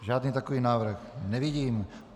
Žádný takový návrh nevidím.